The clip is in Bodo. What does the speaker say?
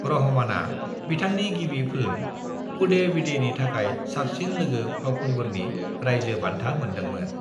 रहमाना बिथांनि गिबि फिल्म 'कूडेविडे' नि थाखाय साबसिन लोगो फावखुंगुरनि रायजो बान्था मोनदोंमोन।